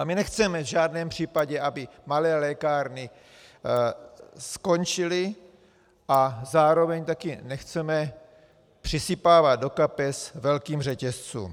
A my nechceme v žádném případě, aby malé lékárny skončily, a zároveň také nechceme přisypávat do kapes velkým řetězcům.